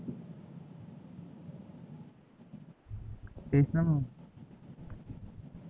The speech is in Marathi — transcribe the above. तेच ना मग